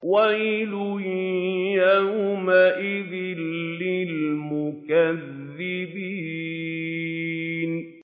وَيْلٌ يَوْمَئِذٍ لِّلْمُكَذِّبِينَ